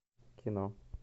кино